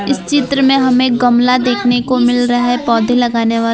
इस चित्र में हमें गमला देखने को मिल रहा है पौधे लगाने वाला।